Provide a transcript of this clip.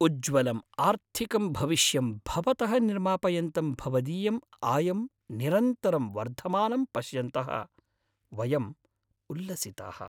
उज्ज्वलं आर्थिकं भविष्यं भवतः निर्मापयन्तं भवदीयम् आयं निरन्तरं वर्धमानं पश्यन्तः, वयं उल्लसिताः।